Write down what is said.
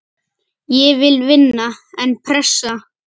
Ég vil vinna, en pressa?